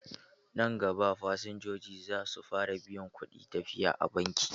Nan gaba, fasinjoji za su fara biyan kuɗin tafiya a banki.